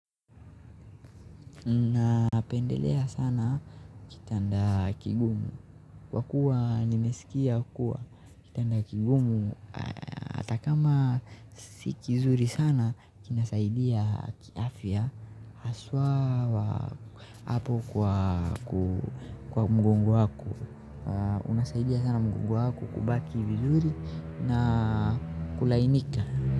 Napendelea sana kitanda kigumu kwa kuwa nimesikia kuwa kitanda kigumu ata kama si kizuri sana kinasaidia kiafya. Aswa hapo kwa mgongo wako unasaidia sana mgongo wako kubaki vizuri na kulainika.